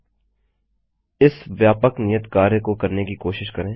000849 000842 इस व्यापक नियत कार्य को करने की कोशिश करें